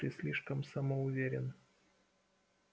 ты слишком самоуверен